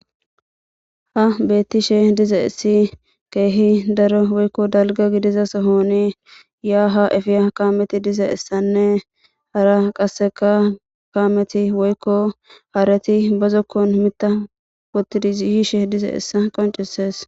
Ha beettishe diza essi keehi daro woykko dalga gidiza sohoni yaa ha efiya kaameti diza issanne hara qasseka kaameti woykko haareti bazokkon mita wotidiiyishe diza essa qoncisees.